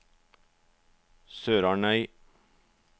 SørarnØy